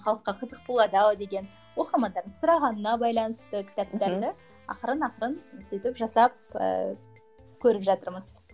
халыққа қызық болады ау деген оқырмандардың сұрағанына байланысты кітаптарды ақырын ақырын сөйтіп жасап ыыы көріп жатырмыз